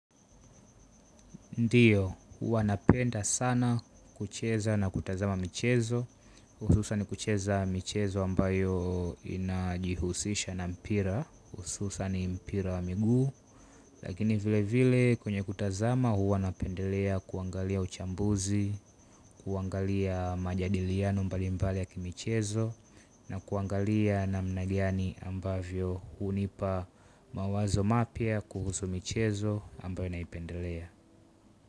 Ndiyo, huwa napenda sana kucheza na kutazama michezo, hususani kucheza michezo ambayo inajihusisha na mpira, hususani mpira wa miguu, lakini vile vile kwenye kutazama huwa napendelea kuangalia uchambuzi, kuangalia majadiliano mbali mbali ya kimichezo, na kuangalia namna gani ambavyo hunipa mawazo mapya kuhusu michezo ambayo naipendelea.